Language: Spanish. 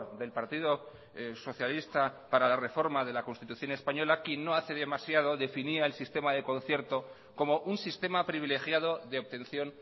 del partido socialista para la reforma de la constitución española que no hace demasiado definía el sistema de concierto como un sistema privilegiado de obtención